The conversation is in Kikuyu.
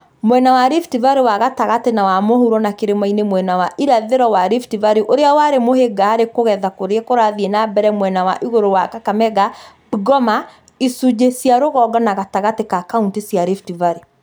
Mwena wa Rift Valley wa gatagatĩ na wa mũhuro na kĩrĩmainĩ mwena wa irathĩro wa Rift Valley ũrĩa warĩ mũhĩnga harĩ kũgetha kũrĩa kũrathiĩ na mbere mwena wa igũrũ wa Kakamega, Bungoma, icunjĩ cia rũgongo na gatagatĩ ka kauntĩ cia Rift